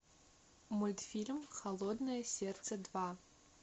мультфильм холодное сердце два